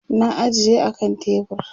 na ajiye a kan tebur